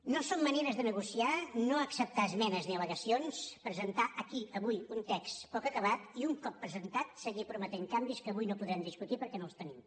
no són maneres de negociar no acceptar esmenes ni al·legacions presentar aquí avui un text poc acabat i un cop presentat seguir prometent canvis que avui no podem discutir perquè no els tenim